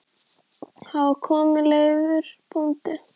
Var þar kominn Leifur bóndi.